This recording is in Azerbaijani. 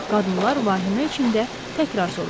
Qadınlar vahimə içində təkrar soruşdular.